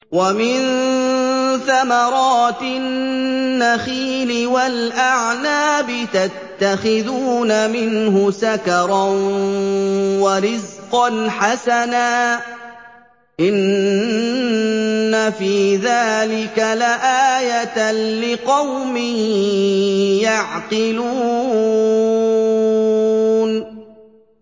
وَمِن ثَمَرَاتِ النَّخِيلِ وَالْأَعْنَابِ تَتَّخِذُونَ مِنْهُ سَكَرًا وَرِزْقًا حَسَنًا ۗ إِنَّ فِي ذَٰلِكَ لَآيَةً لِّقَوْمٍ يَعْقِلُونَ